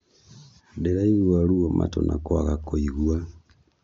Ndĩraigua ruo matũ na kwaga kũigua